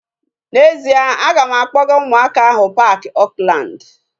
N'ezie, a ga m akpọga ụmụaka ahu paaki Oakland